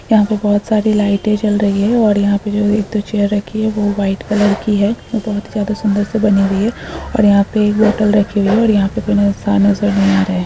यहाँ पे बहुत सारी लाइटें जल रही हैं और यहाँ पे जो है एक दो चेयर रखी है वो वाइट कलर की है और बहुत ही ज्यादा सुन्दर से बनी हुई है और यहाँ पे एक बौटल रखी हुई है और यहाँ पे कोई इन्सान नजर नहीं आ रहे।